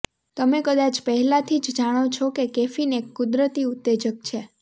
તમે કદાચ પહેલાથી જ જાણો છો કે કેફીન એક કુદરતી ઉત્તેજક છે